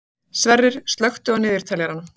Sverrir, slökktu á niðurteljaranum.